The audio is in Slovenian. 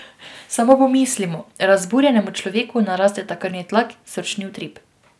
Samo pomislimo, razburjenemu človeku narasteta krvni tlak, srčni utrip.